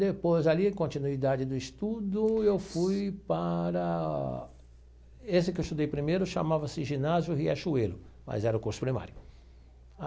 Depois ali, em continuidade do estudo, eu fui para... Esse que eu estudei primeiro chamava-se Ginásio Riachuelo, mas era o curso primário.